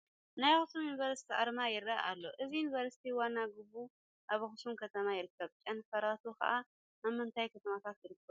ናይ ኣኽሱም ዩኒቨርሲቲ ኣርማ ይርአ ኣሎ፡፡ እዚ ዩኒቨርሲቲ ዋና ግቢኡ ኣብ ኣኽሱም ከተማ ይርከብ፡፡ ጨናፍራቱ ኸ ኣብ ምንታይ ከተማታት ይርከቡ?